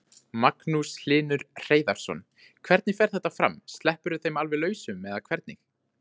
Magnús Hlynur Hreiðarsson: Hvernig fer þetta fram, sleppirðu þeim alveg lausum eða hvernig?